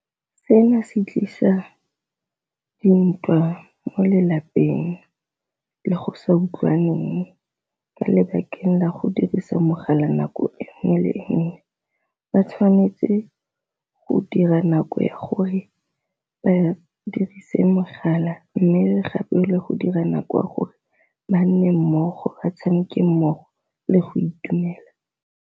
Se na se tlisa dintwa mo lelapeng le go sa utlwaneng ka lebakeng la go dirisa mogala nako e nngwe le nngwe, ba tshwanetse go dira nako ya gore ba dirise mogala. Mme gape le go dira nako ya gore ba nne mmogo ba tshameke mmogo le go itumela.